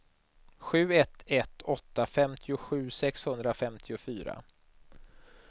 sju ett ett åtta femtiosju sexhundrafemtiofyra